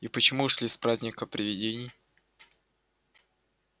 и почему ушли с праздника привидений